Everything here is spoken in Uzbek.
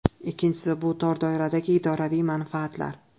Ikkinchisi , bu tor doiradagi idoraviy manfaatlar.